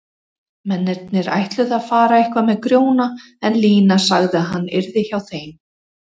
Mennirnir ætluðu að fara eitthvað með Grjóna en Lína sagði að hann yrði hjá þeim.